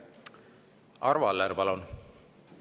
Arvo Aller, palun!